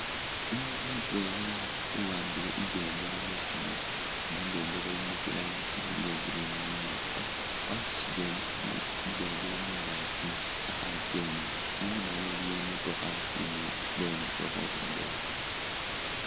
Umundu mutwela uwambile ibendela mukhono inga ibendela ilimo tsirangi tsibili iyagreen ni imwanga wasutile ibendela mungakyi akhakyenda inyuma we iliyo imotokha imukongo indwela.